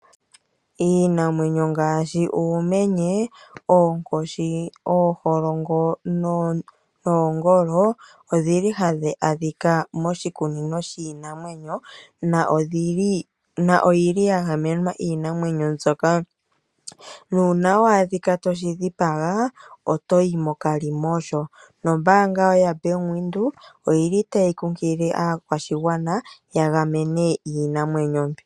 Iinamwenyo ngaashi uumenye, oonkoshi, ooholongo noongolo ohayi adhika moshikunino shiinamwenyo niimwenyo mbika oya gamenwa. Uuna wa adhika toshi dhipaga oto yi mokalimosho nombaanga yaBank Windhoek otayi kunkilile aakwashigwana ya gamene iinamwenyo mbika.